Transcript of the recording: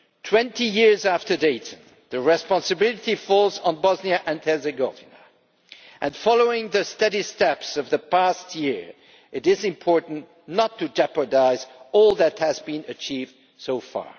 20 years after Dayton the responsibility falls on Bosnia and Herzegovina and, following the steady steps of the past year, it is important not to jeopardise all that has been achieved so far.